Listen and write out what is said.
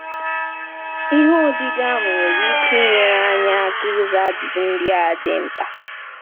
Ihe odide ahụ nwere ike inyere anyị aka ịza ajụjụ ndị a dị mkpa.